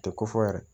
Tɛ ko fɔ yɛrɛ